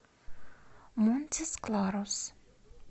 монтис кларус